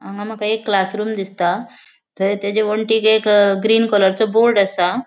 हांगा मका एक क्लासरूम दिसता थंय तेजा वण्टीक एक ग्रीन कॉलरचो बोर्ड असा.